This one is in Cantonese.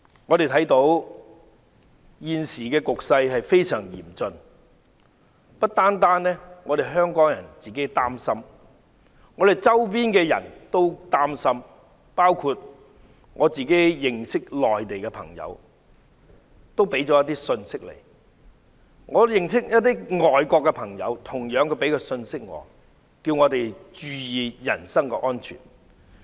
我們看到現時的局勢非常嚴峻，不單香港人自己感到擔心，我們周邊的人同樣感到擔心，包括我的內地朋友，他們也向我發信息，我的外國朋友亦同樣向我發信息，叫我們注意人身安全。